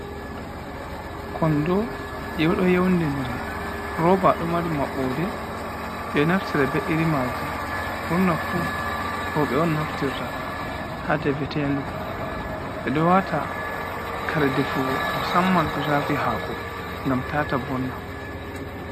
Kondo ɗo youdidiri, rooba ɗo mari maɓɓode, ɓe ɗo naftira ɓe iri maji murna fu roɓe on naftirta, ha defetenɗu, ɓe ɗo wata kare de fugo, mu samman ko shafi hako, gam tata vonna.